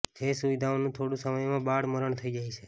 જે સુવિધાઓનું થોડા સમયમાં બાળ મરણ થઇ જાય છે